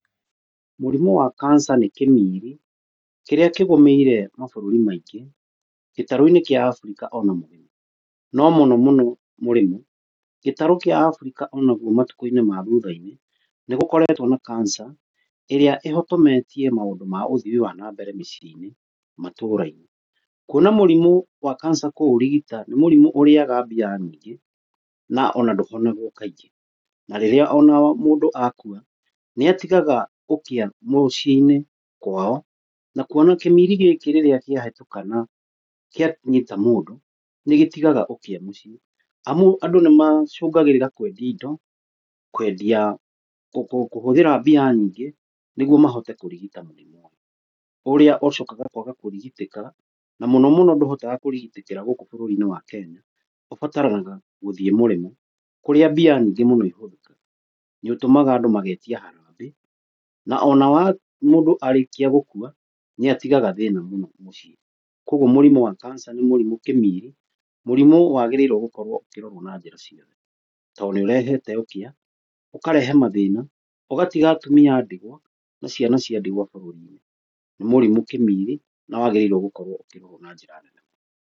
Mũrimũ wa cancer nĩ kĩmiri kĩrĩa kĩgũmĩire mabũrũri maingĩ gĩtarũ kĩa Abirika ona mũrimũ . No mũno mũno mũrimũ, Gĩtarũ kĩa Afrika onakĩo matukũ-inĩ ma thutha-inĩ nĩ gũkoretwo na cancer ĩrĩa ĩhotometie maũndũ ma ũthii wa na mbere mĩciĩ-inĩ na matũra-inĩ. Kuona mũrimũ wa cancer kũũrigita nĩ mũrimũ ũrĩaga mbia nyingĩ, na ona ndũhonagwo kaingĩ na ona rĩrĩa mũndũ akua nĩ atigaga ũkĩa mũciĩ-inĩ kwao. Na kuona kĩmiri gĩkĩ rĩrĩa kĩahĩtũka na kĩanyita mũndũ nĩ gĩtigaga ũkĩa mũciĩ, amu andũ nĩ macũngagĩrĩra kwendia indo kwendia ngũkũ, kũhũthĩra mbia nyingĩ nĩguo mahote kũrigita mũrimũ ũyũ. Ũrĩa ũcokaga kwaga kũrigitĩka na mũno mũno ndũrigitagĩrwo gũkũ bũrũri-inĩ wa Kenya ũbataraga gũthiĩ mũrĩmo kũrĩa mbia nyingĩ mũno ihũthĩkaga. Nĩ ũtũmaga andũ magetia harambĩ na ona mũndũ arĩkia gũkua nĩ atigaga thĩna mũno mũciĩ. Koguo, mũrimũ wa cancer nĩ mũrimũ kĩmiri mũrimũ wagĩrĩirwo gũkorwo ũkĩrorwo na njĩra ciothe, tondũ nĩ ũrehete ũkĩa, ũkarehe mathĩna, ũgatiga atumia a ndigwa na ciana cia ndigwa bũruri-inĩ, nĩ mũrimu kĩmiri na wagĩrĩire gũkorwo ũkĩrorwo na njĩra nene mũno.